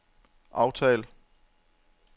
aftal